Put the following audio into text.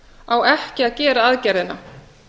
á ekki að gera aðgerðina